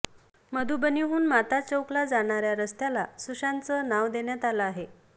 मधुबनीहून माता चौकला जाणाऱ्या रस्त्याला सुशांतचं नाव देण्यात आलं आहे